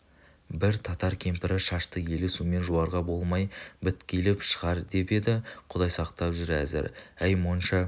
бір татар кемпірі шашты елі сумен жуарға болмай біткиліп шығар деп еді құдай сақтап жүр әзір әй монша